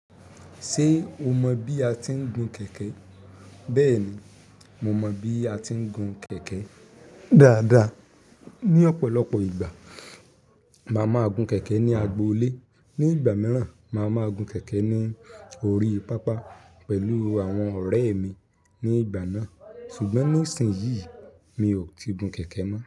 Ṣé o mọ bí a ti ń gun kẹ̀kẹ́? Bẹ́ẹ̀ni, mo mọ bí a ti ń gun kẹ̀kẹ́ dáadáa. Ní ọ̀pọ̀lọpọ̀ ìgbà mà máa gun kẹ̀kẹ́ ní agbo ilé ní ìgbà mìíràn, màá ma gun kẹ̀kẹ́ ní orí pápá pẹ̀lú àwọn ọ̀rẹ́ mi ní ìgbà náà. Ṣùgbọ́n nísinyí, mi ò ti gun kẹ̀kẹ́ mọ́.